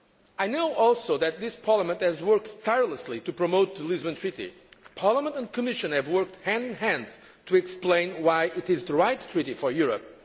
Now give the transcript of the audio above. I also know that this Parliament has worked tirelessly to promote the Lisbon Treaty. Parliament and Commission have worked hand in hand to explain why it is the right treaty for Europe.